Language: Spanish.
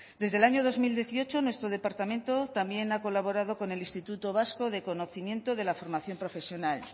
desde el año dos mil dieciocho nuestro departamento también ha colaborado con el instituto vasco de conocimiento de la formación profesional